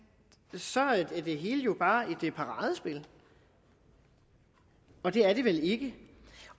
så er det hele jo bare et paradespil og det er det vel ikke